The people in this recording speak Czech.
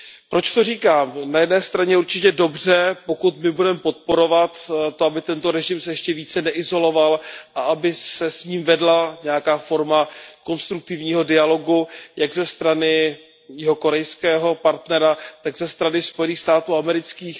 Proč to říkám? Na jedné straně je určitě dobře, pokud my budeme podporovat to, aby se tento režim ještě více neizoloval a aby se s ním vedla nějaká forma konstruktivního dialogu jak ze strany jihokorejského partnera, tak ze strany Spojených států amerických.